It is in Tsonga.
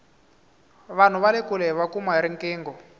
vanhu vale kule hiva kuma hi riqingho